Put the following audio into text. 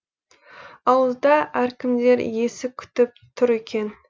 ауызда әркімдер есік күтіп тұр екен